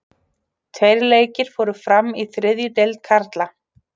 Tveir leikir fóru fram í þriðju deild karla.